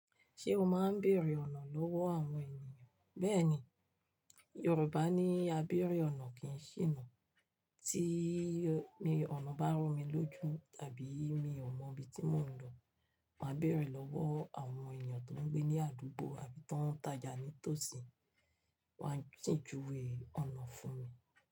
Ṣé o máa ń bèèrè ọ̀nà lọ́wọ́ àwọn ènìyàn? Bẹ́ẹ̀ni, Yorùbá ní "A bèèrè ọ̀nà kì í ṣìnà". Tí ọ̀nà bá rú mi lójú tàbí mi ò mọ ibi tí mò ń lọ, màá bèèrè lọ́wọ́ àwọn ènìyàn tó ń gbé ní àdúgbò àbí tó ń tajà ní tòsí, wọ́n á sì júwe ọ̀nà fún mi.